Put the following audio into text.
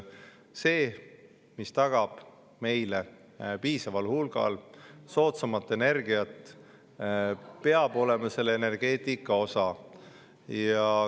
See, mis tagab meile piisaval hulgal soodsamat energiat, peab olema energeetika osa.